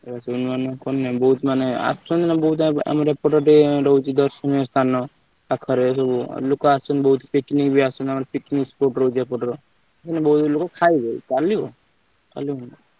ବୋହୁତ ମାନେ ଆସୁଛନ୍ତି ନାଁ ରହୁଛି ଆମର ଦର୍ଶନୀୟ ସ୍ଥାନ ପାଖରେ ସବୁ ଲୋକ ଅସୂଚସନ୍ତି ବୋହୁତ picnic ବି ଆସୁଛନ୍ତି picnic spot ରହୁଛି ମ ଏପଟର କିନ୍ତୁ ବୋହୁତ ଲୋକ ଖାଇବେ ଚାଲିବ ଚାଲିବ ଦୋକାନ।